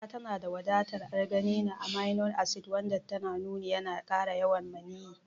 Gyada tanada wadatar arginine, amino acid wanda an nuna yana kara yawan maniyyi.